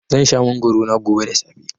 Zan sha mangwaro na gobe da safe.